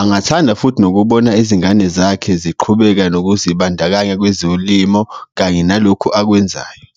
Angathanda futhi nokubona izingane zakhe ziqhubeka nokuzibandakanya kwezolimo kanye nalokho akwenzayo.